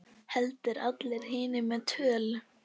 Heldur allra hinna með tölu.